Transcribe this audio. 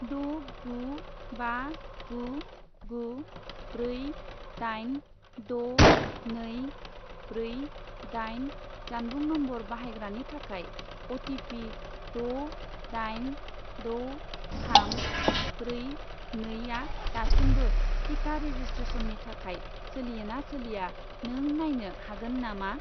द' गु बा गु गु ब्रै दाइन द' नै ब्रै दाइन जानबुं नम्बर बाहायग्रानि थाखाय अ.टि.पि. द' दाइन द' थाम ब्रै नै आ दासिमबो टिका रेजिसट्रेसननि थाखाय सोलियो ना सोलिया नों नायनो हागोन नामा?